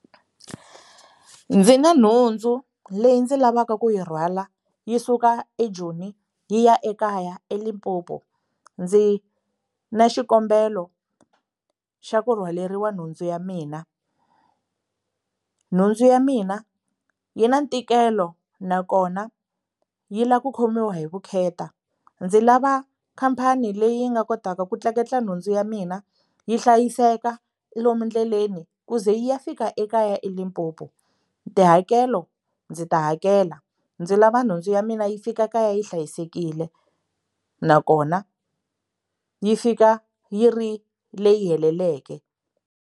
Ndzi na nhundzu leyi ndzi lavaka ku yi rhwala yi suka eJoni yi ya ekaya eLimpopo ndzi na xikombelo xa ku rhwaleriwa nhundzu ya mina nhundzu ya mina yi na ntikelo nakona yi lava ku khomiwa hi vukheta ndzi lava khampani leyi yi nga kotaka ku tleketla nhundzu ya mina yi hlayiseka lomu endleleni ku ze yi ya fika ekaya eLimpopo tihakelo ndzi ta hakela ndzi lava nhundzu ya mina yi fika kaya yi hlayisekile nakona yi fika yi ri leyi heleleke.